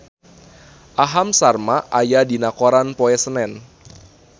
Aham Sharma aya dina koran poe Senen